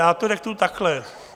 Já to řeknu takhle.